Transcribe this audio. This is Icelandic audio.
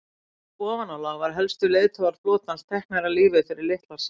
í ofanálag voru helstu leiðtogar flotans teknir af lífi fyrir litlar sakir